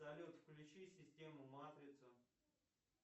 салют включи систему матрица